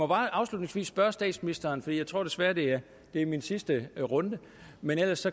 bare afslutningsvis spørge statsministeren for jeg tror desværre det er min sidste runde men ellers